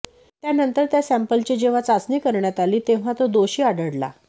त्यानंतर त्या सॅम्पलची जेव्हा चाचणी करण्यात आली तेव्हा तो दोषी आढळला